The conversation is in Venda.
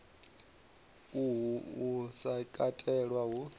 uhu u sa katelwa hu